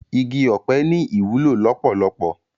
Igi òpè ni iwúló lópólópó